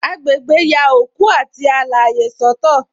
Agbegbe ya òkú àti alaye soto